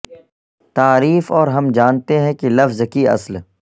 تعریف اور ہم جانتے ہیں کہ لفظ کی اصل